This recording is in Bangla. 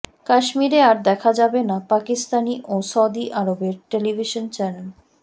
কাশ্মীরে আর দেখা যাবে না পাকিস্তানি ও সৌদি আরবের টেলিভিশন চ্যানেল